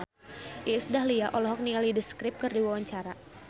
Iis Dahlia olohok ningali The Script keur diwawancara